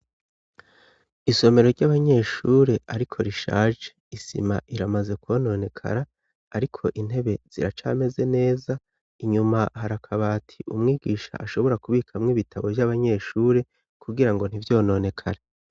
Isomero ry'abanyeshure ariko rishaje, isima iramaze kwononekara ariko intebe ziracameze neza, inyuma hari akabati umwigisha ashobora kubikamwo ibitabo vy'abanyeshuri kugirango ntivyononekare.